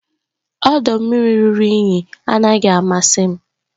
ọdọ mmiri ruru unyi anaghị amasị m